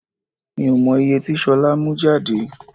Mi ò mọ ìye tí ṣolá mú jáde.